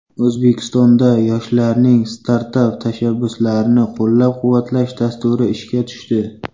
O‘zbekistonda yoshlarning startap tashabbuslarini qo‘llab-quvvatlash dasturi ishga tushdi.